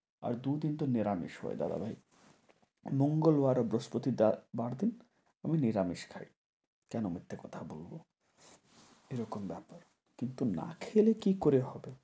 আর দুদিন তো নিরামিষ হয় দাদা ভাই। মঙ্গলবার ও বৃহস্পতি দার~ বার দিন আমি নিরামিষ খাই। কেন মিথ্যে কথা বলব। এরকম ব্যাপার। কিন্তু না খেলে কী করে হবে?